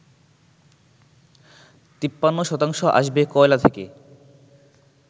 ৫৩ শতাংশ আসবে কয়লা থেকে